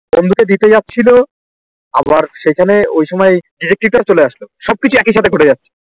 বন্ধুকে দিতে যাচ্ছিলো অব সেখানে ওই সময় Detective তও চলে আসলো সব কিছু একই সাথে ঘটে যাচ্ছিলো